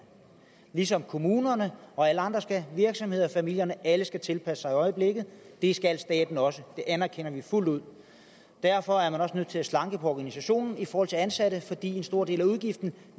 ligesom kommunerne virksomhederne familierne og alle andre skal tilpasse sig i øjeblikket det skal staten også det anerkender vi fuldt ud derfor er man også nødt til at slanke på organisationen i forhold til ansatte fordi en stor del af udgiften jo